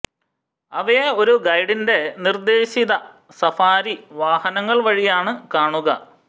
അവയെ ഒരു ഗൈഡിന്റെ നിർദ്ദേശിത സഫാരി വാഹനങ്ങൾ വഴിയാണ് കാണുക